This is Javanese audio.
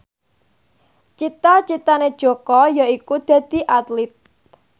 cita citane Jaka yaiku dadi Atlit